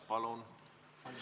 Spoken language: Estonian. Palun!